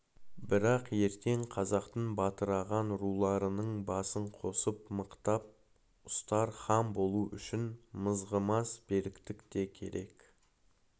бірақ ертең қазақтың бытыраған руларының басын қосып мықтап ұстар хан болу үшін мызғымас беріктік те керек